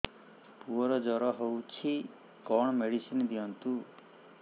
ପୁଅର ଜର ହଉଛି କଣ ମେଡିସିନ ଦିଅନ୍ତୁ